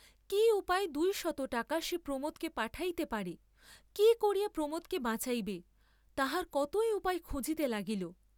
কি উপায়ে দুই শত টাকা সে প্রমোদকে পাঠাইতে পারে, কি করিয়া প্রমোদকে বাঁচাইবে, তাহার কতই উপায় খুঁজিতে লাগিল।